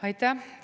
Aitäh!